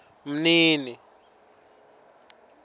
mnini